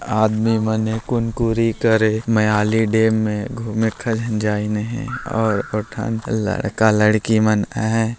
आदमी मन कुनकुरी करे मायाली डैम में घूमे करे जाइने हे और पठान लड़का लड़की मन है।